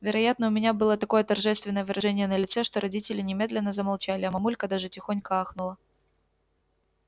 вероятно у меня было такое торжественное выражение на лице что родители немедленно замолчали а мамулька даже тихонько охнула